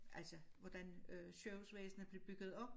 Altså hvordan øh sygehusvæsenet blev bygget op